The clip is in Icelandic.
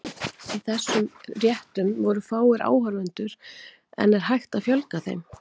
Í þessum réttum voru fáir áhorfendur, en er hægt að fjölga þeim?